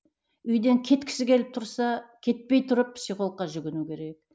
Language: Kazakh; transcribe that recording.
үйден кеткісі келіп тұрса кетпей тұрып психологқа жүгіну керек